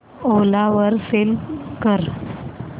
ओला वर सेल कर